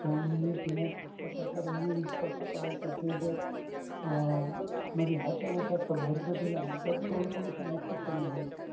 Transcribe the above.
जमिनीत न टाकता त्याचा reuse कसा करायचा हे जर अं म्हणजे ह्याच्यावर जास्त भर जर दिला ना तर soil pollution नक्कीच कमी होईल.